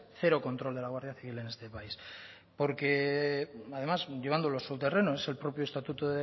cero control de la guardia civil en este país porque además llevándolo a su terreno es el propio estatuto